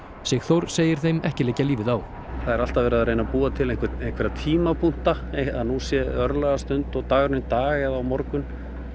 Sigþór segir þeim ekki liggja lífið á það er alltaf verið að reyna að búa til einhverja tímapunkta að nú sé örlagastund og dagurinn í dag eða á morgun